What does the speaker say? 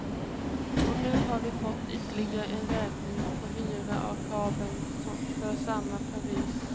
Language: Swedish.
Och nu har vi fått ytterligare en räkning på hyra av kabeln för samma period.